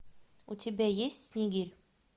у тебя есть снегирь